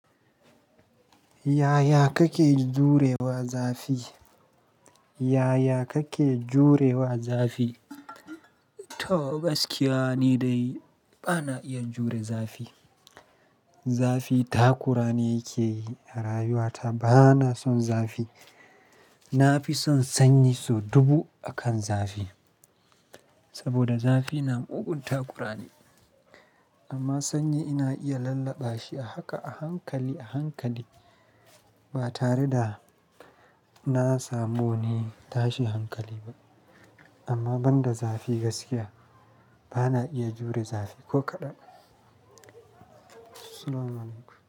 Yaya kake jurewa zafi? Yaya kake jurewa zafi? To gaskiya ni dai bana iya jure zafi. Zafi takura ni yake yi a rayuwata. Bana son zafi. Na fi son sanyi sau dubu akan zafi. Saboda zafi na mugun takura ni. Amma sanyi ina iya lallaɓa shi a haka a hankali a hankali. Ba tare da na samu wani tashin hankali ba. Amma banda zafi gaskiya bana iya jure zafi ko kaɗan. Assalamualaikum.